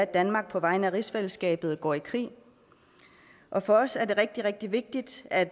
danmark på vegne af rigsfællesskabet går i krig for os er det rigtig rigtig vigtigt at